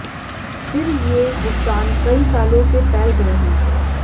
फिर ये भुगतान कई सालों से फैल गए हैं